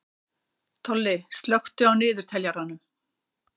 Tolli, slökktu á niðurteljaranum.